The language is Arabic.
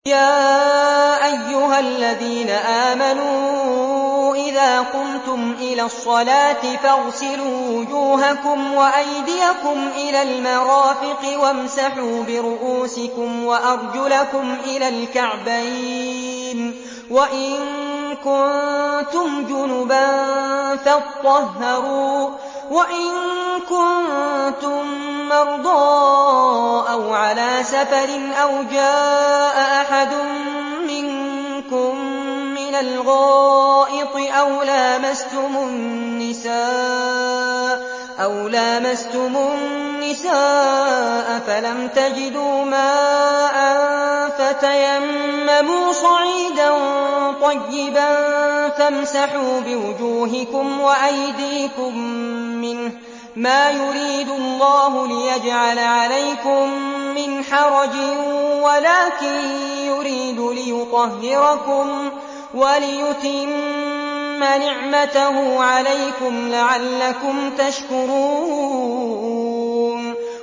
يَا أَيُّهَا الَّذِينَ آمَنُوا إِذَا قُمْتُمْ إِلَى الصَّلَاةِ فَاغْسِلُوا وُجُوهَكُمْ وَأَيْدِيَكُمْ إِلَى الْمَرَافِقِ وَامْسَحُوا بِرُءُوسِكُمْ وَأَرْجُلَكُمْ إِلَى الْكَعْبَيْنِ ۚ وَإِن كُنتُمْ جُنُبًا فَاطَّهَّرُوا ۚ وَإِن كُنتُم مَّرْضَىٰ أَوْ عَلَىٰ سَفَرٍ أَوْ جَاءَ أَحَدٌ مِّنكُم مِّنَ الْغَائِطِ أَوْ لَامَسْتُمُ النِّسَاءَ فَلَمْ تَجِدُوا مَاءً فَتَيَمَّمُوا صَعِيدًا طَيِّبًا فَامْسَحُوا بِوُجُوهِكُمْ وَأَيْدِيكُم مِّنْهُ ۚ مَا يُرِيدُ اللَّهُ لِيَجْعَلَ عَلَيْكُم مِّنْ حَرَجٍ وَلَٰكِن يُرِيدُ لِيُطَهِّرَكُمْ وَلِيُتِمَّ نِعْمَتَهُ عَلَيْكُمْ لَعَلَّكُمْ تَشْكُرُونَ